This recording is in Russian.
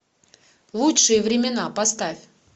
лучшие времена поставь